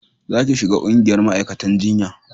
za ki shiga ƙungiyar ma'aikatan jinya